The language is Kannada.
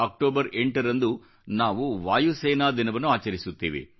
ಅಕ್ಟೋಬರ್ 8 ರಂದು ನಾವು ವಾಯುಸೇನಾ ದಿನವನ್ನು ಆಚರಿಸುತ್ತೇವೆ